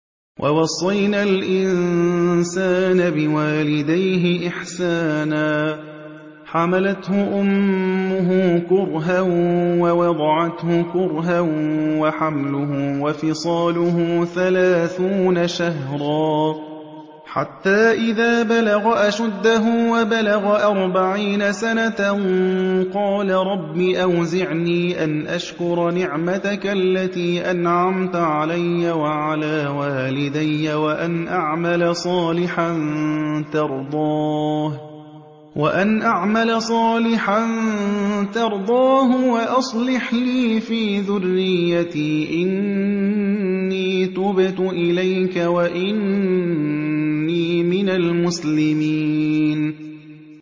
وَوَصَّيْنَا الْإِنسَانَ بِوَالِدَيْهِ إِحْسَانًا ۖ حَمَلَتْهُ أُمُّهُ كُرْهًا وَوَضَعَتْهُ كُرْهًا ۖ وَحَمْلُهُ وَفِصَالُهُ ثَلَاثُونَ شَهْرًا ۚ حَتَّىٰ إِذَا بَلَغَ أَشُدَّهُ وَبَلَغَ أَرْبَعِينَ سَنَةً قَالَ رَبِّ أَوْزِعْنِي أَنْ أَشْكُرَ نِعْمَتَكَ الَّتِي أَنْعَمْتَ عَلَيَّ وَعَلَىٰ وَالِدَيَّ وَأَنْ أَعْمَلَ صَالِحًا تَرْضَاهُ وَأَصْلِحْ لِي فِي ذُرِّيَّتِي ۖ إِنِّي تُبْتُ إِلَيْكَ وَإِنِّي مِنَ الْمُسْلِمِينَ